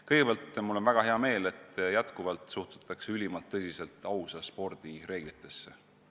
Kõigepealt, mul on väga hea meel, et endiselt suhtutakse ülimalt tõsiselt ausa spordi reeglitesse.